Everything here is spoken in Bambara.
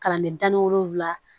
Kalanden da ni wolonfila